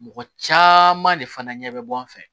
Mɔgɔ caman de fana ɲɛ bɛ bɔ an fɛ